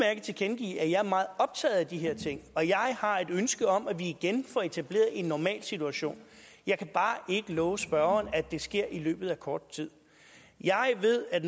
tilkendegive at jeg er meget optaget af de her ting og at jeg har et ønske om at vi igen får etableret en normal situation jeg kan bare ikke love spørgeren at det sker i løbet af kort tid jeg ved at